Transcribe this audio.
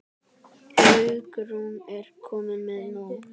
Hugrún: Ekki komnir með nóg?